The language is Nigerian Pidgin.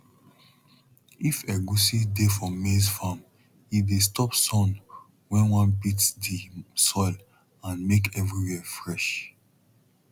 if egusi dey for maize farm e dey stop sun when wan beat the soil and make everywhere fresh